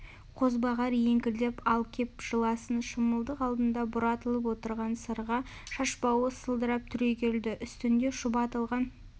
қозбағар еңкілдеп ал кеп жыласын шымылдық алдында бұратылып отырған сырға шашбауы сылдырап түрегелді үстінде шұбатылған